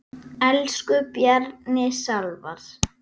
Elsku Bjarni Salvar.